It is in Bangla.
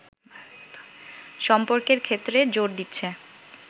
সম্পর্কের ক্ষেত্রে জোর দিচ্ছে